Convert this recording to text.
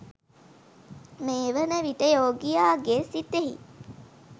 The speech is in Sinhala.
මේ වන විට යෝගියාගේ සිතෙහි